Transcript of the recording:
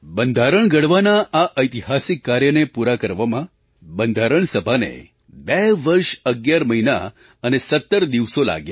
બંધારણ ઘડવાના આ ઐતિહાસિક કાર્યને પૂરા કરવામાં બંધારણ સભાને 2 વર્ષ 11 મહિના અને 17 દિવસો લાગ્યા